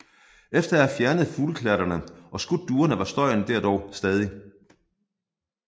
Efter at have fjernet fugleklatterne og skudt duerne var støjen der dog stadig